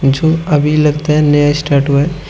अभी लगता है नया स्टार्ट हुआ है।